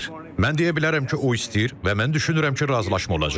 Mən deyə bilərəm ki, o istəyir və mən düşünürəm ki, razılaşma olacaq.